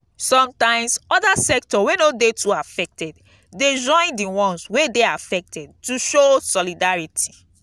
sometimes other sector wey no de too affected de join di ones wey de affected to show solidarity